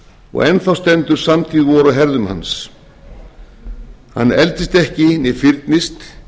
og enn þá stendur samtíð vor á herðum hans hann eldist ekki né fyrnist